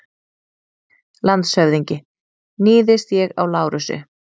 LANDSHÖFÐINGI: Níðist ég á Lárusi?